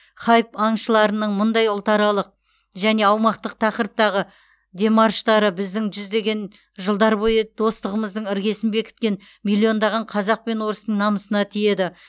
хайп аңшыларының мұндай ұлтаралық және аумақтық тақырыптағы демарштары біздің жүздеген жылдар бойы достығымыздың іргесін бекіткен миллиондаған қазақ пен орыстың намысына тиеді